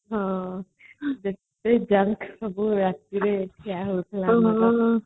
ହଁ exam ସରିଲେ ରାତିରେ ଖିଆ ହଉଥିଲା